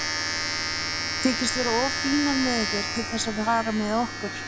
Þykist vera of fínar með ykkur til þess að fara með okkur.